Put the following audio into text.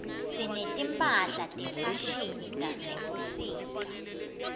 sineti mphahla tefashini tasebusika